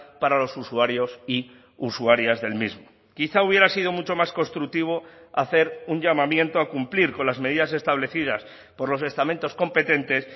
para los usuarios y usuarias del mismo quizá hubiera sido mucho más constructivo hacer un llamamiento a cumplir con las medidas establecidas por los estamentos competentes